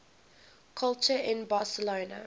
culture in barcelona